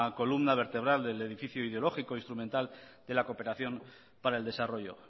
columna vertebral del edificio ideológico e instrumental de la cooperación para el desarrollo